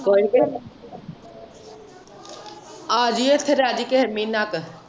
ਕੋਇਨੀ ਆਜੀ ਇੱਥੇ ਰਹਿਜੀ ਇੱਥੇ ਕੋਈ ਮਹੀਨਾ ਕ।